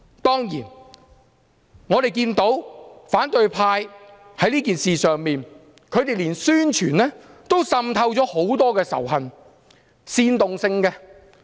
當然我們看到，反對派在此事上，連宣傳也滲透了很多煽動仇恨的成分。